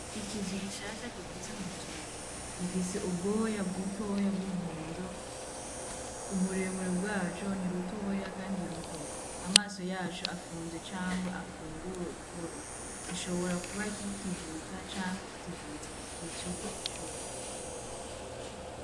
Ikizwi gishasha kivutse muzuri gifise ubwoya bw'utoya bw'umuhonzo uburemure bwaco ni rutoya, kandi i ruto amaso yacu afunze canga afunguwe guhoro gishobora kuba kikivuka canke kikivutse igihe co gucotwa.